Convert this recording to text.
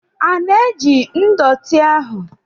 A na-eji ndọtị ahụ?